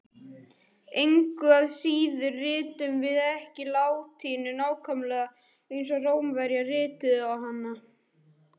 Engu að síður ritum við ekki latínu nákvæmlega eins og Rómverjar rituðu hana.